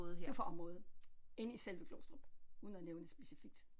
Du er fra området inde i selve Glostrup uden at nævne det specifikt